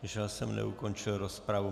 Že já jsem neukončil rozpravu!